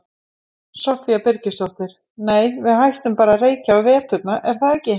Soffía Birgisdóttir: Nei við hættum bara að reykja á veturna, er það ekki?